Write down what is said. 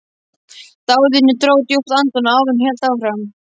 Daðína dró djúpt andann áður en hún hélt áfram.